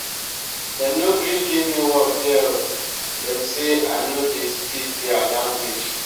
dem no gree give me work there o dem sey i no dey speak there language.